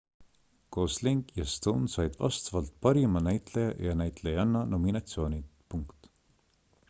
gosling ja stone said vastavalt parima näitleja ja näitlejanna nominatsioonid